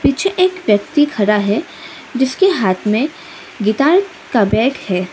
पीछे एक व्यक्ति खड़ा है जिसके हाथ में गिटार का बैट है।